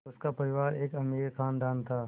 उनका परिवार एक अमीर ख़ानदान था